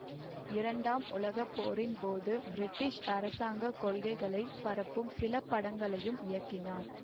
இரண்டாம் உலக போரின் போது பிரிட்டிஷ் அரசாங்க கொள்கைகளை பரப்பும் சில படங்களையும் இயக்கினார்